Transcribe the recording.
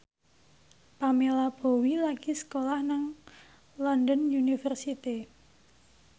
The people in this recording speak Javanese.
Pamela Bowie lagi sekolah nang London University